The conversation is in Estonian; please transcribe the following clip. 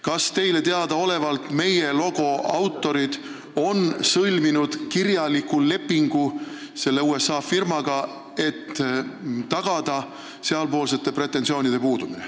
Kas teie teada on meie logo autorid sõlminud kirjaliku lepingu selle USA firmaga, et välistada sealpoolsed pretensioonid?